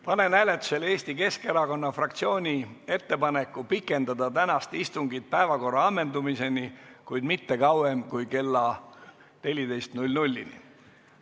Panen hääletusele Eesti Keskerakonna fraktsiooni ettepaneku pikendada tänast istungit päevakorra ammendumiseni, kuid mitte kauem kui kella 14-ni.